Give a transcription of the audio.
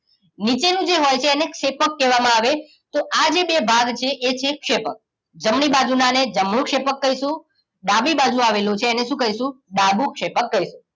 નીચે નું જે હોય છે એને ક્ષેપકકેવા માં આવે આ જે બે ભાગ છે એ છે ક્ષેપક જમણી બાજુના ને જમણું ક્ષેપ્કકહીશું ડાબી બાજુ આવેલું છે એને શું કહીશુંડાબું ક્ષેપક કહીશું